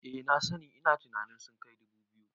Eh na sani, ina tunanin sun kai dubu biyu